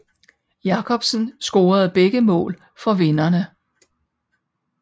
Jacobsen scorede begge mål for vinderne